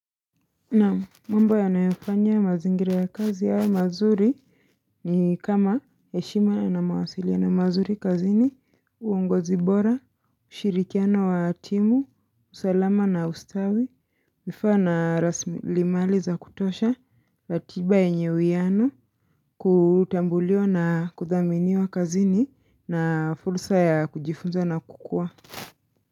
Naam mambo yanayofanya mazingira ya kazi yawe mazuri ni kama heshima yana mawasiliano mazuri kazini uongozi bora, ushirikiano wa timu, usalama na ustawi, vifaa raslimali za kutosha, katiba yenye uiyano, kutambuliwa na kudhaminiwa kazini na fursa ya kujifunza na kukua.